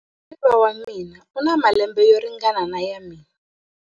Muhariva wa mina u na malembe yo ringana na ya mina.